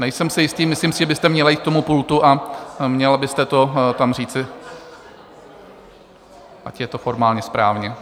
Nejsem si jistý, myslím si, že byste měla jít k tomu pultu a měla byste to tam říci, ať je to formálně správně.